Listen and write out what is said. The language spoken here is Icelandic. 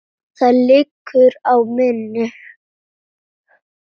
Þar liggur áhugi minn.